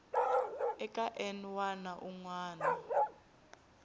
eka n wana un wana